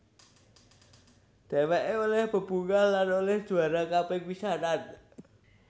Dheweké olih bebungah lan olih juara kaping pisanan